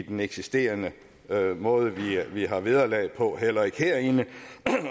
den eksisterende måde vi har vederlag på heller ikke herinde